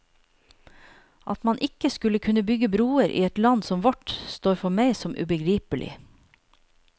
At man ikke skulle kunne bygge broer i et land som vårt, står for meg som ubegripelig.